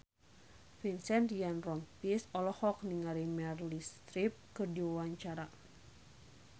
Vincent Ryan Rompies olohok ningali Meryl Streep keur diwawancara